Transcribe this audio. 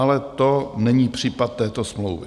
Ale to není případ této smlouvy.